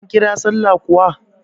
An kira sallah kuwa?